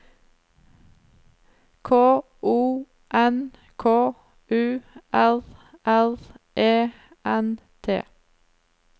K O N K U R R E N T